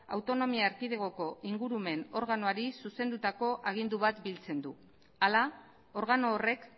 autonomia erkidegoko ingurumen organoari zuzendutako agindu bat biltzen du hala organo horrek